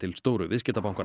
stóru viðskiptabankanna